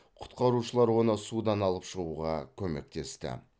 құтқарушылар оны судан алып шығуға көмектесті